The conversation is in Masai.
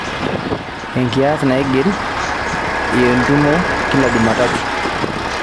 enkias naigili ientumo kila jumatatu